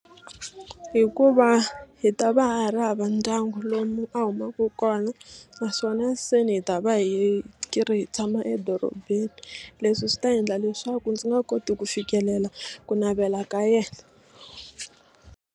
Hikuva hi ta va hi ri hava ndyangu lomu a humaka kona naswona se ni hi ta va hi ri hi tshama edorobeni leswi swi ta endla leswaku ndzi nga koti ku fikelela ku navela ka yena.